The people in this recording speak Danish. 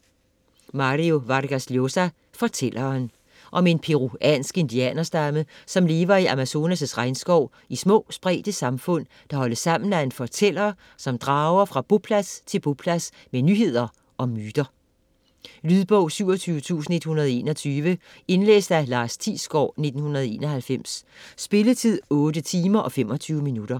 Vargas Llosa, Mario: Fortælleren Om en peruansk indianerstamme, som lever i Amazonas' regnskov i små spredte samfund, der holdes sammen af en fortæller, som drager fra boplads til boplads med nyheder og myter. Lydbog 27121 Indlæst af Lars Thiesgaard, 1991. Spilletid: 8 timer, 25 minutter.